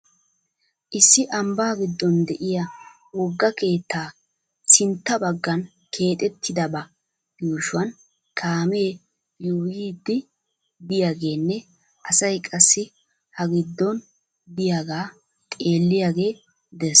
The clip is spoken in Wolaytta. Issi ambba giddon de'iya wogga keetta sintta baggan keexettidaba yuushuwan kaamee yuuyyiiddi diyagenne asay qassi ha giddon diyagaa xeelliyage des.